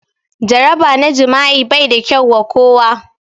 Jaraba na jima'i bai da kyau wa kowa.